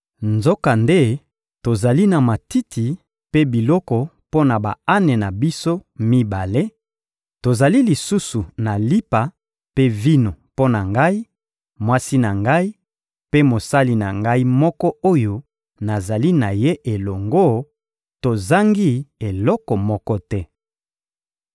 Nzokande tozali na matiti mpe biloko mpo na ba-ane na biso mibale, tozali lisusu na lipa mpe vino mpo na ngai, mwasi na ngai mpe mosali na ngai moko oyo nazali na ye elongo; tozangi eloko moko te.